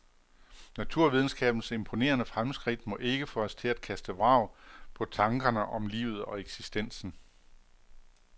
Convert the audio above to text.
Naturvidenskabens imponerende fremskridt må ikke få os til at kaste vrag på tankerne om livet og eksistensen.